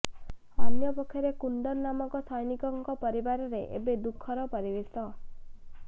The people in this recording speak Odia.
ଅନ୍ୟପକ୍ଷରେ କୁନ୍ଦନ ନାମକ ସୈନିକଙ୍କ ପରିବାରରେ ଏବେ ଦୁଃଖର ପରିବେଶ